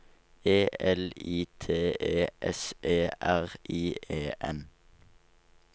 E L I T E S E R I E N